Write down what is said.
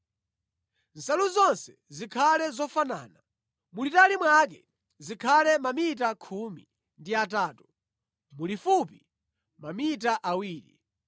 Nsalu zonse zikhale zofanana. Mulitali mwake zikhale mamita khumi ndi atatu, mulifupi mamita awiri.